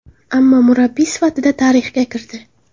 Ammo murabbiy sifatida tarixga kirdi.